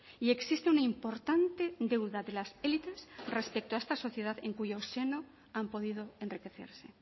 y existe una importante deuda de las élites respecto a esta sociedad en cuyo seno han podido enriquecerse